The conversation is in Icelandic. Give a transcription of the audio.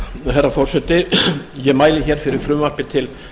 herra forseti ég mæli hér fyrir frumvarpi til